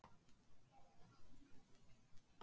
Hann skálmaði inn í afgreiðslusalinn.